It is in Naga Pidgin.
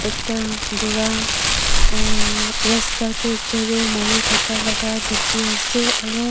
ta bura uhhhh rasta te jaru mari thaka laga dikhi ase aroo --